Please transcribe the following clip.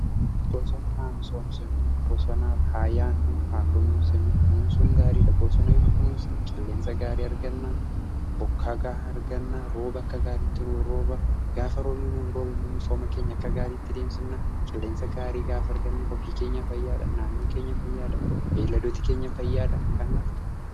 Bosana haa misomsinu! Bosanaaf haa yaannuu! haa kunuunsinu kunuunsuun gaariidha bosana yoo kunuunsine qilleensa gaarii argannaa bokkaa gahaa argannaa. rooba akka gaariitti nu rooba gaafa roobni nuu rooba immoo misooma keenya akka gaariitti deemsifna. qilleensa gaarii gaafa arganne ofii keenya fayyaadha naannoon keenya fayyaada, beelladooti keenya fayyaadha kanaaf.